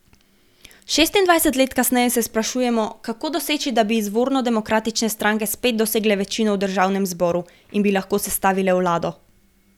Šestindvajset let kasneje se sprašujemo, kako doseči, da bi izvorno demokratične stranke spet dosegle večino v državnem zboru in bi lahko sestavile vlado.